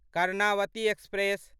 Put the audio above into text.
Karnavati express